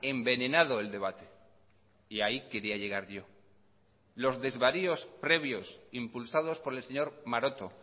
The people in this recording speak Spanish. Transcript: envenenado el debate y ahí quería llegar yo los desvaríos previos impulsados por el señor maroto